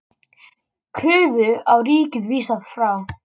Kröfu á ríkið vísað frá